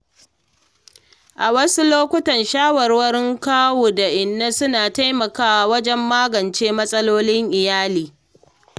A wasu lokuta, shawarwarin kawu da inna suna taimakawa wajen magance matsalolin iyali.